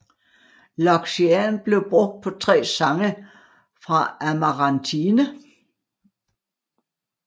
Loxian blev brugt på tre sange fra Amarantine